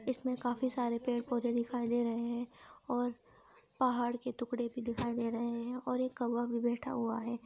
इसमें काफी सारे पेड़ पौधे दिखाई दे रहे है और पहाड़ के टुकड़े भी दिखाई दे रहे है और एक कौआ भी बैठा हुआ है।